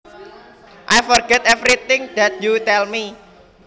I forget every thing that you tell me